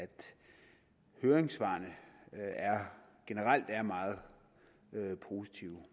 høringssvarene generelt er meget positive